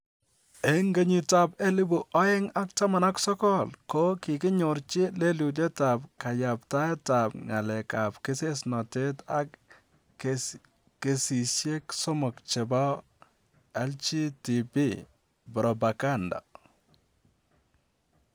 En 2019 ko kiginyorji lelutyetab kayaptaetab ngalekab kesesnotet ak kesisyek somok chebo ''LGTB propaganda''.